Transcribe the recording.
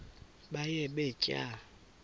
baye bee tyaa